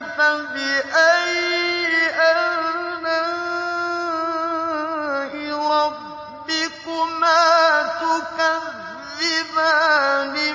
فَبِأَيِّ آلَاءِ رَبِّكُمَا تُكَذِّبَانِ